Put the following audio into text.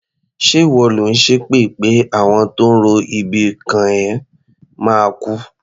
Ṣé ìwọ lò ń ṣépè pé àwọn tó ń ro ibi kàn ẹ́ máa kú?